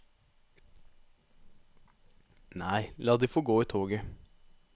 Nei, la de få gå i toget.